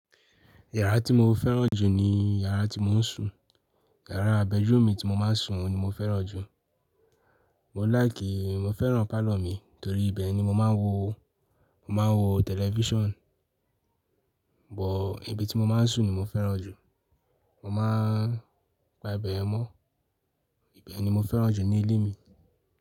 Yàrá tí mo fẹ́ràn jù ni yàrá tí mò ń sùn. Yàrá bedroom mi tí mo máa ń sùn, oun ni mo fẹ́ràn jù. Mò ń láìkìì, mo fẹ́ràn parlour mi torí ibẹ̀ ni mo máa ń wo, mo máa ń wo television. Bọ̀ ibi tí mo máa ń sùn ni mo fẹ́ràn jù. Mo máa ń pa ibẹ̀ yen mọ́. Ibe ni mo fẹ́ràn jù ní ilé mi.